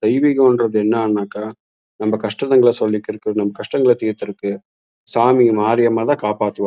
தெய்வீகம்ன்றது என்னாக்க நம்ம கஷ்டங்கல சொல்லிக்குறக்கு நம்ம கஷ்டங்களை தீத்துருக்கு சாமி மாரியம்மாள் தா காப்பாதுவா.